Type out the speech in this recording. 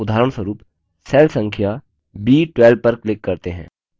उदाहरणस्वरूप cell संख्या b12 पर click करते हैं